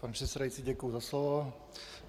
Pane předsedající, děkuju za slovo.